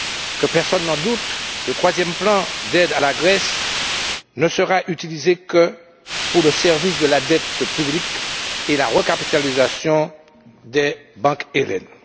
Que personne n'en doute, le troisième plan d'aide à la Grèce ne sera utilisé que pour le service de la dette publique et la recapitalisation des banques hellènes.